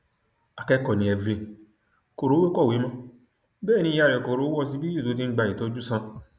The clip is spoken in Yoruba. akẹkọọ ni evelyn kò rówó kọwé mọ bẹẹ ni ìyá rẹ kò rówó ọsibítù tó ti ń gba ìtọjú sàn